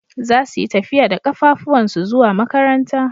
Zasu yi tafiya da kafafuwansu zuwa makaranta.